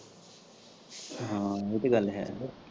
ਹਾਂ ਏਹ ਤੇ ਗੱਲ ਹੈ।